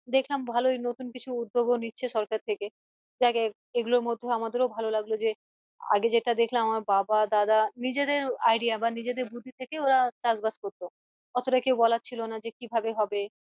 দেখলাম ভালোই নতুন কিছু উদ্যোগও নিচ্ছে সরকার থেকে জেগে এগুলোর মধ্যে লাগলো আমাদেরও ভালো যে আগে যেটা দেখতাম আমার বাবা দাদা নিজেদের idea বা নিজেদের বুদ্ধি থেকে ওরা চাষ বাস করতো অতটা কেউ বলার ছিল না যে কিভাবে হবে